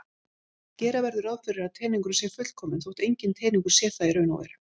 Gera verður ráð fyrir að teningurinn sé fullkominn þótt enginn teningur sé það í raun.